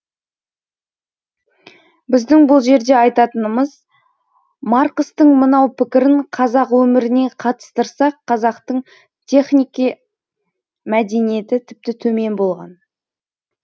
біздің бұл жерде айтатынымыз марқыстың мынау пікірін қазақ өміріне қатыстырсақ қазақтың технике мәдениеті тіпті төмен болған